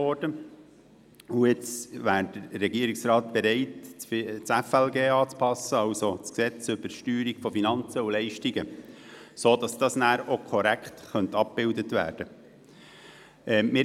Nun wäre der Regierungsrat bereit, das Gesetz über die Steuerung von Finanzen und Leistungen (FLG) anzupassen, sodass dies schliesslich korrekt abgebildet werden könnte.